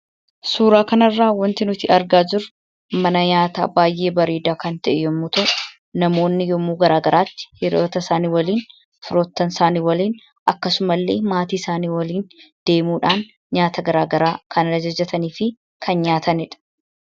Suuraa kanarraa waanti nuti argaa jirru mana nyaataa baay'ee bareedaa kan ta'e yommuu ta'u, namoonni yeroo garaa garaatti hiriyoota isaanii waliin, firoottan isaanii waliin akkasuma illee maatii isaanii waliin deemudhaan nyaata garaa garaa kan ajajatanii fi kan nyaatanidha.